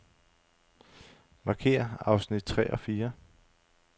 Markér afsnit tre og fire.